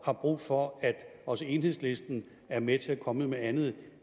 har brug for at også enhedslisten er med til at komme med andet